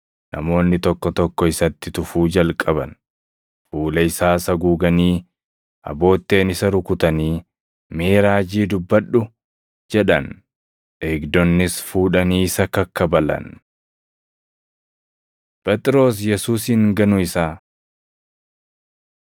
Namoonni tokko tokko isatti tufuu jalqaban; fuula isaas haguuganii abootteen isa rukutanii, “Mee raajii dubbadhu!” jedhan. Eegdonnis fuudhanii isa kakkabalan. Phexros Yesuusin Ganuu Isaa 14:66‑72 kwf – Mat 26:69‑75; Luq 22:56‑62; Yoh 18:16‑18,25‑27